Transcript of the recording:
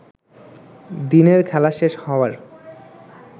দিনের খেলাশেষ হওয়ার